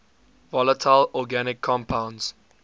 volatile organic compounds